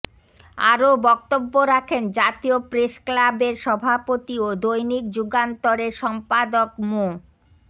আরও বক্তব্য রাখেন জাতীয় প্রেসক্লাবের সভাপতি ও দৈনিক যুগান্তরের সম্পাদক মো